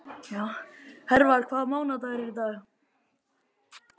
Hervar, hvaða mánaðardagur er í dag?